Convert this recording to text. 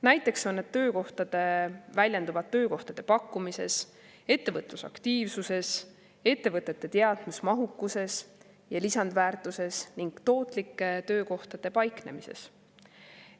Näiteks väljenduvad need töökohtade pakkumises, ettevõtlusaktiivsuses, ettevõtete teadmusmahukuses ja lisandväärtuses ning tootlike töökohtade paiknemises.